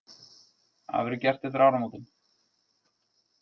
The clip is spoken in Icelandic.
Það verður gert eftir áramótin